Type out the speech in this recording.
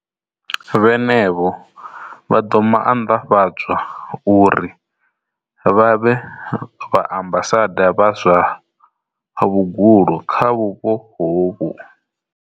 Vhenevho vha ḓo maanḓafhadzwa uri vha vhe vha ambasada vha zwa vhugulu kha vhupo hovhu.